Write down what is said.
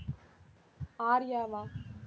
ஆர்யாவா